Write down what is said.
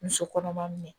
Muso kɔnɔma min